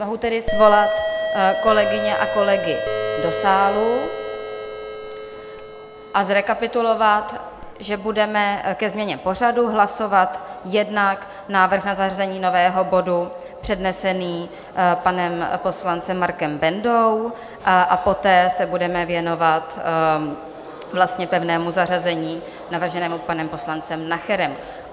Mohu tedy svolat kolegyně a kolegy do sálu a zrekapitulovat, že budeme ke změně pořadu hlasovat jednak návrh na zařazení nového bodu přednesený panem poslancem Markem Bendou a poté se budeme věnovat pevnému zařazení navrženému panem poslancem Nacherem.